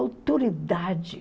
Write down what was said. Autoridade.